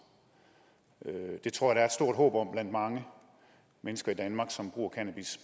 det tror jeg er stort håb om blandt mange mennesker i danmark som bruger cannabis